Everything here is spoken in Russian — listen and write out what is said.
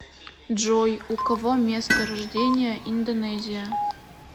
джой у кого место рождения индонезия